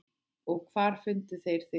Og hvar fundu þeir þig.